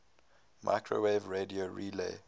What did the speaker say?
microwave radio relay